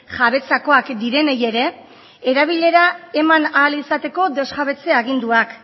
jabetzakoak direnei ere erabilera eman ahal izateko desjabetze aginduak